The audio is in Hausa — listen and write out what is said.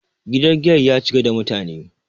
gidan giyar ya cika da mutane